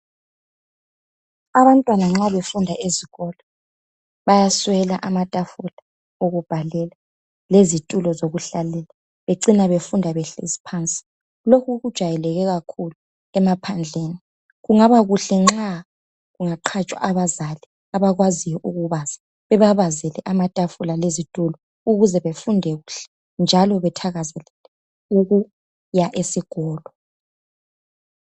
abantwana nxa befunda ezikolo bayaswela amatafula okubhalela lezitulo zokuhlalela becine befunda behlezi phansi lokhu kujayeleke kakhulu ema phandleni kungaba kuhle nxa kungaqatshwa abazali abakwaziyo ukubaza babazele amatafula lezitulo ukuze befunde kuhle njalo bethakazelele ukuya esikolo